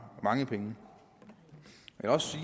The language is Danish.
mange penge